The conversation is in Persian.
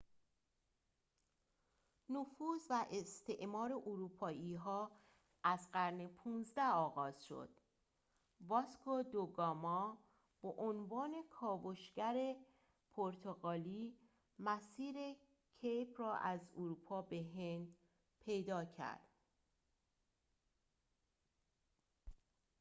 نفوذ و استعمار اروپایی‌ها از قرن ۱۵ آغاز شد واسکو دو گاما به عنوان کاوشگری پرتغالی مسیر کیپ را از اروپا به هند پیدا کرد